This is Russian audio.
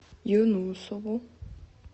юнусову